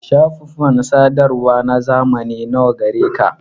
Shafufan sadarwa na zamani nawa gareka?